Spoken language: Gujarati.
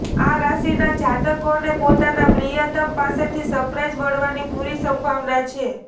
આ રાશિના જાતકોને પોતાના પ્રિયતમ પાસેથી સરપ્રાઈઝ મળવાની પૂરી સંભાવના છે